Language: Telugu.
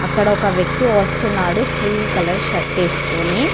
అక్కడ ఒక వ్యక్తి వస్తున్నాడు క్రీం కలర్ షర్ట్ వేసుకొననీ--